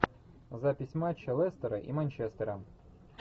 запись матча лестера и манчестера